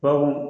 Baw